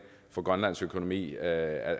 for grønlands økonomi at